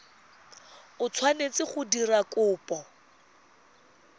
o tshwanetseng go dira kopo